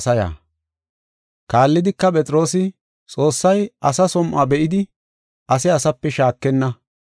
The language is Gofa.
Kaallidika, Phexroosi, “Xoossay asa som7o be7idi ase asape shaakenna.